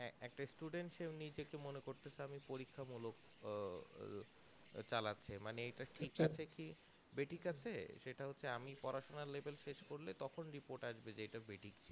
একটা student যে নিজেকে মনে করতেসে আমি পরীক্ষা মূলক আহ চালাচ্ছে মানে এটা ঠিক আছে কি বেঠিক আছে সেটা হচ্ছে আমি পড়াশোনা level শেষ করলে report যে এটা বেঠিক